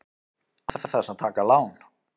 Án þess að taka lán!